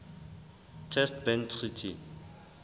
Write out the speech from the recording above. test ban treaty